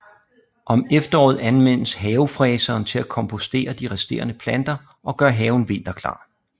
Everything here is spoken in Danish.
Om efteråret anvendes havefræseren til at kompostere de resterende planter og gøre haven vinterklar